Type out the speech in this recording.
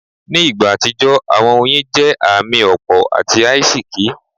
Ni igba atijọ, awọn oyin jẹ aami ti opo ati aisiki